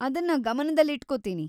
ಅದನ್ನ ಗಮನದಲ್ಲಿಟ್ಕೊತೀನಿ.